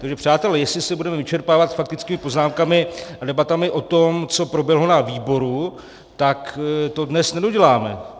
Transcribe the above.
Takže přátelé, jestli se budeme vyčerpávat faktickými poznámkami a debatami o tom, co proběhlo na výboru, tak to dnes nedoděláme.